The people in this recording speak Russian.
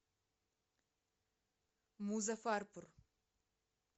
музаффарпур